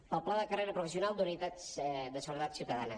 per al pla de carrera professional d’unitats de seguretat ciutadana